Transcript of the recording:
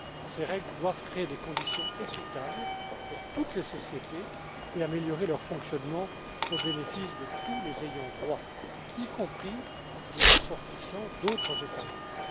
Ces règles doivent créer des conditions équitables pour toutes les sociétés et améliorer leur fonctionnement au bénéfice de tous les ayants droit, y compris les ressortissants d'autres États membres.